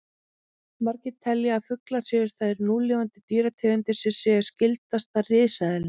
Margir telja að fuglar séu þær núlifandi dýrategundir sem séu skyldastar risaeðlum.